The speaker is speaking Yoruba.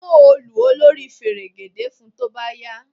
Mú òòlù olórí fẹ̀rẹ̀gẹ̀dẹ̀ fun tó bá yá!